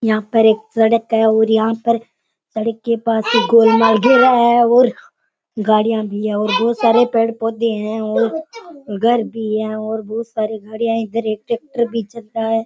यहाँ पर एक सड़क है और यहाँ पर सड़क के पास एक गोल बना घेरा है और गाड़ियां भी है और बहुत सारे पेड़ पौधे है और घर भी है और बहुत सारे घर इधर एक ट्रेक्टर भी चल रहा है।